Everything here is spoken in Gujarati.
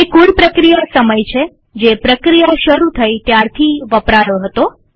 તે કુલ પ્રક્રિયા સમય છે જે પ્રક્રિયા શરુ થઇ ત્યારથી વપરાયો હતો